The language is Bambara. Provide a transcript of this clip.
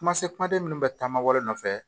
Kuma se kumaden minnu bɛ taamawlen nɔfɛ